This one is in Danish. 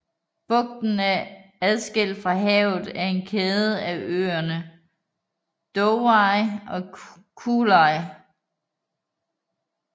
Bugten er adskilt fra havet af en kæde af øerne Dovhyi og Kruhlyi